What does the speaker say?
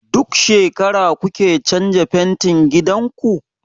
Duk shekara kuke canza fentin gidan ku?